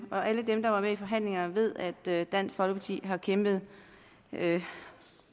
alle dem der var med i forhandlingerne ved at dansk folkeparti har kæmpet